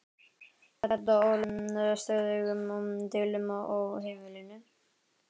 Þetta olli stöðugum deilum á heimilinu.